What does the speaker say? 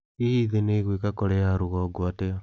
Hihi thĩ nĩ ĩgwĩka Korea ya rugongo atĩa?